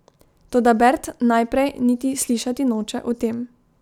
Toda Bert najprej niti slišati noče o tem.